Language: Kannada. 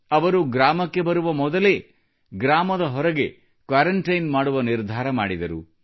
ಅವರು ಗ್ರಾಮಕ್ಕೆ ಬರುವ ಮೊದಲೇ ಗ್ರಾಮದ ಹೊರಗೆ ಕ್ವಾರಂಟೈನ್ ಮಾಡುವ ನಿರ್ಧಾರ ಮಾಡಿದರು